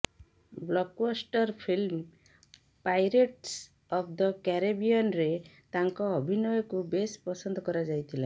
blockbuster film Pirates of the କ୍ୟାରେବିୟନରେ ତାଙ୍କ ଅଭିନୟକୁ ବେଶ ପସନ୍ଦ କରାଯାଇଥିଲା